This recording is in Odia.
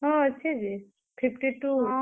ହଁ, ଅଛେ ଯେ fifty two ।